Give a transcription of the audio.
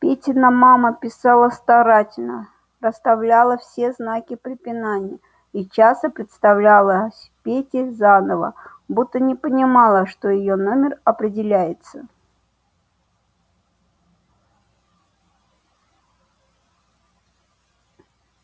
петина мама писала старательно расставляла все знаки препинания и часто представлялась пете заново будто не понимала что её номер определяется